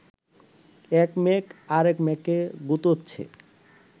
এক মেঘ আরেক মেঘকে গুঁতোচ্ছে